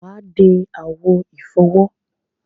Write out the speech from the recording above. Wà á de àwo ìfọwọ́.